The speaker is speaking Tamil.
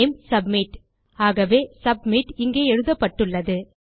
நேம் சப்மிட் ஆகவே சப்மிட் இங்கே எழுதப்பட்டுள்ளது